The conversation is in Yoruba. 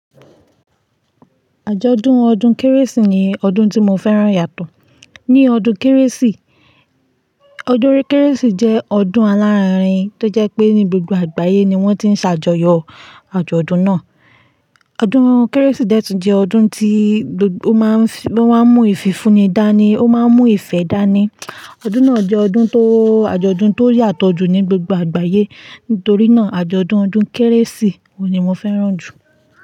Àjọ̀dún ọdún kérésì ni ọdún tí mo fẹ́ràn yàtọ̀. Ní ọdún kérésì, ọdún kérésì jẹ́ ọdún alárinrin tó jẹ́ pé ní gbogbo àgbáyé ni wọ́n ti ń ṣàjọyọ̀ àjọ̀dún náà. Ọdún kérésì dẹ́tùn jẹ́ ọdún tí ó máa ń, wọ́n máa ń mú ìfìfunni dání, ó máa ń mú ìfẹ́ dání. Ọdún náà jẹ́ ọdún tó àjọ̀dún tó yàtọ̀ jù ní gbogbo àgbáyé. Nítorí náà, àjọ̀dún ọdún kérésì ni mo fẹ́ràn jù.